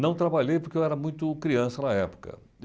Não trabalhei porque eu era muito criança na época.